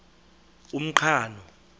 umqhano